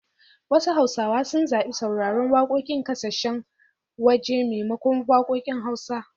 Wasu hausawa sun zabi sauraren wakokin kasashen waje maimakon wakokin hausa.